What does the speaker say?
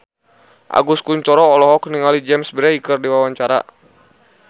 Agus Kuncoro olohok ningali James Bay keur diwawancara